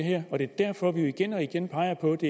er derfor vi igen og igen peger på at det